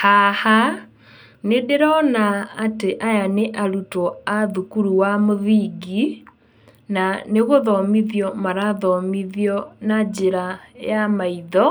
Haha, nĩ ndĩrona atĩ aya nĩ arutwo a thukuru wa mũthingi, na nĩ gũthomithio marathomithio na njĩra ya maitho,